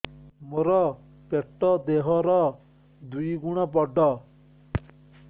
ମୋର ପେଟ ଦେହ ର ଦୁଇ ଗୁଣ ବଡ